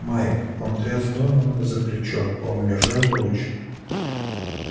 майк он тряс донована за плечо он удержал луч